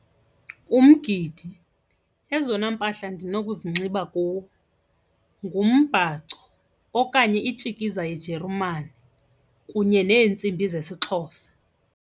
Umgidi ezona mpahla ndinokuzigcina kuwo ngumbhaco okanye itshikiza yejeremane kunye neentsimbi zesiXhosa.